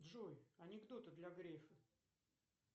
джой анекдоты для грефа